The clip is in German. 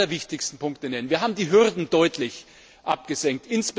Ich will nur die allerwichtigsten Punkte nennen Wir haben die Hürden deutlich abgesenkt.